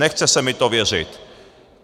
Nechce se mi to věřit."